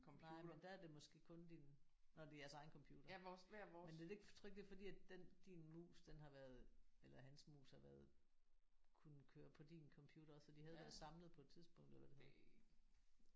Nej men der er det måske kun din når det er jeres egen computer men er det ikke tror du ikke det er fordi den din mus har været eller hans mus har været kunnet køre på din computer så de havde været samlet på et tidspunkt eller?